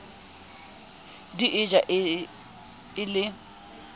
di e ja e le